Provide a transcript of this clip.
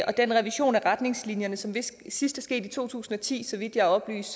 og den revision af retningslinjerne som vist sidst skete i to tusind og ti så vidt jeg er oplyst